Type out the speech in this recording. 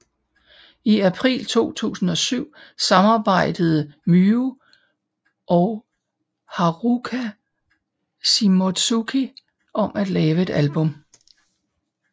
I april 2007 samarbejdede Myu og Haruka Shimotsuki om at lave et album